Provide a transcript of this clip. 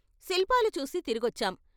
శిల్పాలు చూసి తిరిగొచ్చాం.